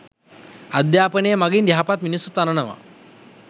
අධ්‍යාපනය මගින් යහපත් මිනිසුන් තනනවා